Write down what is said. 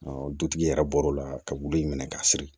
dutigi yɛrɛ bɔr'o la ka wili in minɛ ka siri